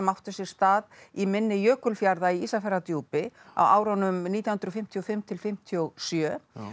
áttu sér stað í mynni Jökulfjarða í Ísafjarðardjúpi á árunum nítján hundruð fimmtíu og fimm til fimmtíu og sjö